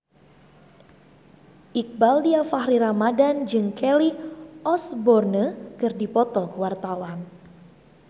Iqbaal Dhiafakhri Ramadhan jeung Kelly Osbourne keur dipoto ku wartawan